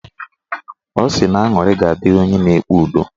Ọ sị na aṅụrị ga-adịrị onye na-ekpe udo